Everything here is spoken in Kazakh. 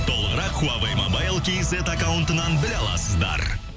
толығырақ хуавей мобайл кейзет аккаунтынан біле аласыздар